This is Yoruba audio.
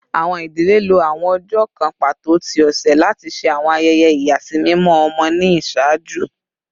Awọn idile lo awọn ọjọ kan pato ti ọsẹ lati ṣe awọn ayẹyẹ iyasimimọ ọmọ ni iṣaaju